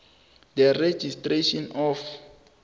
the registration of